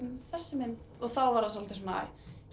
þessi mynd þá var það svolítið svona